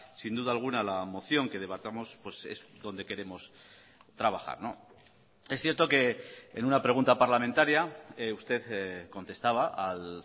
sin duda alguna la moción que debatamos es donde queremos trabajar es cierto que en una pregunta parlamentaria usted contestaba al